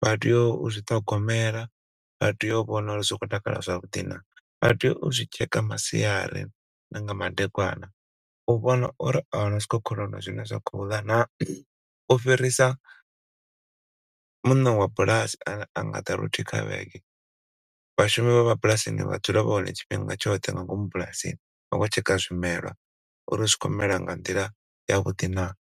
vha tea u zwi ṱhogomela, vha tea u vhona uri zwi khou takala zwavhuḓi naa, vha tea u zwi tsheka masiari na nga madekwana u vhona uri ahuna zwikhokhonono zwine zwa khou ḽa naa! U fhirisa muṋe wa bulasi ane anga ḓa luthihi kha vhege, vhashumi vha mabulasini vha dzula vha hone tshifhinga tshoṱhe nga ngomu bulasini vha khou tsheka zwimela uri zwi khou mela nga nḓila yavhuḓi naa.